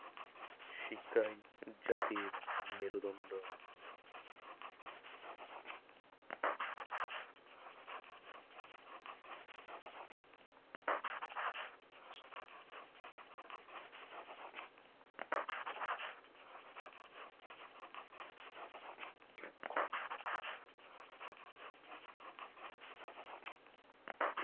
শিক্ষাই জাতির মেরুদন্ড।